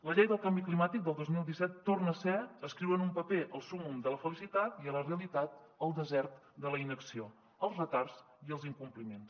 la llei del canvi climàtic del dos mil disset torna a ser escriure en un paper el súmmum de la felicitat i a la realitat el desert de la inacció els retards i els incompliments